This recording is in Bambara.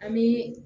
An bi